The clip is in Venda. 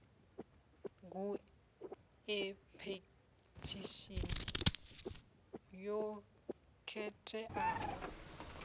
gu e phethishini yo khetheaho